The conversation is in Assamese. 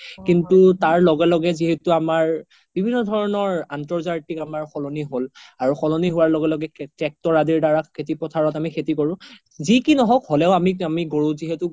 কিন্তু তাৰ লগে লগে যিহেতু আমাৰ বিভিন্ন ধৰণৰ অন্ত্ৰজাতিক আমাৰ সলনি হ্'ল আৰু সলনি হুৱাৰ লগে লগে tractor আদিৰ দাৰা আমি খেতি পথাৰত আমি খেতি কৰো যি কি নহ্ওক হ্'লেও আমি গৰুক যিহেতু